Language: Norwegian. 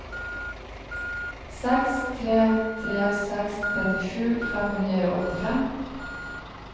seks tre tre seks trettisju fem hundre og åttifem